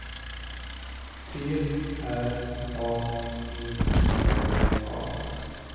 T R A E N A